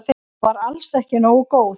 Hún var alls ekki nógu góð.